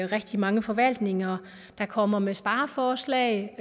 rigtig mange forvaltninger der kommer med spareforslag